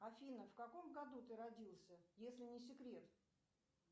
афина в каком году ты родился если не секрет